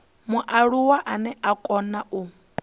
mualuwa ane a kona u